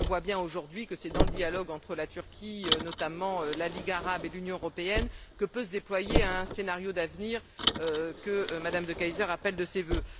On voit bien, aujourd'hui, que c'est dans le dialogue entre la Turquie, notamment, la Ligue arabe et l'Union européenne que peut se déployer un scénario d'avenir que Mme De Keyser appelle de ses vœux.